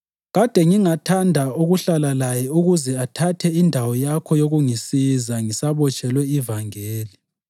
Kade ngingathanda ukuhlala laye ukuze athathe indawo yakho yokungisiza ngisabotshelwe ivangeli.